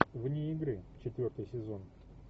вне игры четвертый сезон